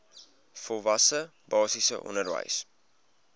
volwasse basiese onderwys